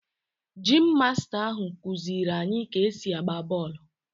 Geim masta ahụ kụziiri anyị ka-esi agba bọọlụ